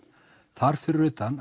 þar fyrir utan